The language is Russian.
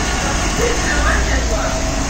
запусти очарование зла